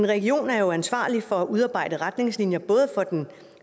regionerne er jo ansvarlige for at udarbejde retningslinjer for den